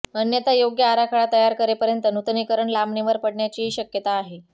अन्यथा योग्य आराखडा तयार करेपर्यंत नुतनीकरण लांबणीवर पडण्याचीही शक्यता आहे